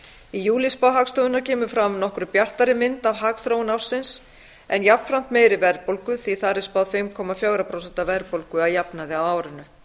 í júlíspá hagstofunnar kemur fram nokkru bjartari mynd af hagþróun ársins en jafnframt meiri verðbólga því að þar er spáð fimm komma fjögur prósent verðbólgu að jafnaði á árinu